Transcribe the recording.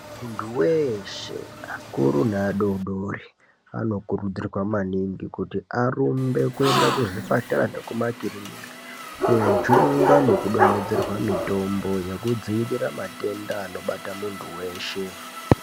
Muntu weshe akuru neadodori anokurudzirwa maningi kuti arumbe kuenda kuzvipatara nekumakirinika kojungwa nekudonhedzerwa mitombo yekudziirira matenda anobata muntu weshe.